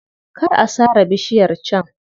Kar a sare bishiyar can.